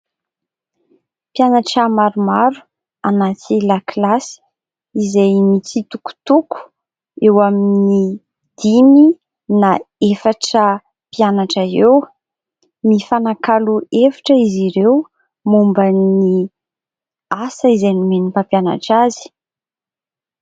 Mpianatra maromaro anaty lakilasy izay mitsitokotoko eo amin'ny dimy na efatra mpianatra eo, mifanakalo hevitra izy ireo momba ny asa izay nomen'ny mpampianatra azy.